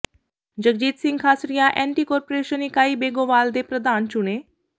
Jagjit Singh Khasria anticorruption ਇਕਾਈ ਬੇਗੋਵਾਲ ਦੇ ਪ੍ਰਧਾਨ ਚੁਣੇ